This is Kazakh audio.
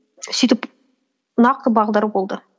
сөйтіп нақты бағдар болды